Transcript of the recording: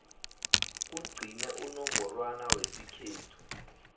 kugcine unongorwana wesikhethu